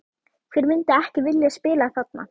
Hver myndi ekki vilja spila þarna?